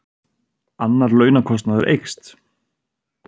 Annar launakostnaður eykst